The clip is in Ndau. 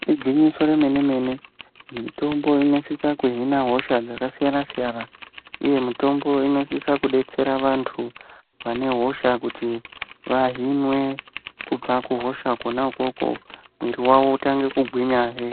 Igwinyiso remene mene mitombo inosisa kuhina hosha dzakasiyana siyana uye mitombo Inosisa kudetsera vantu vane hosha kuti vahinwe kubva kuhosha ikoko mwiri yawo itange kugwinya hee.